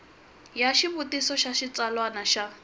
ya xivutiso xa xitsalwana xa